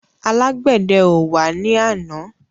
Alágbèdẹ ò wá ní àná.